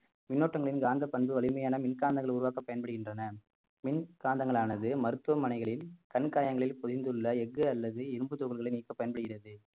மின்னோட்டங்களின் காந்த பண்பு வலிமையான மின் காந்தங்கள் உருவாக்க பயன்படுகின்றன மின்காந்தங்களானது மருத்துவமனைகளில் கண்காயங்களில் பொதிந்துள்ள அல்லது இரும்புத் துகள்களை நீக்கப் பயன்படுகிறது